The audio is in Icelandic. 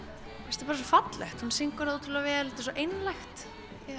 bara svo fallegt hún syngur það ótrúlega vel þetta er svo einlægt